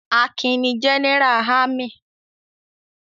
Akin ni Jẹ́nẹ́rà ámì.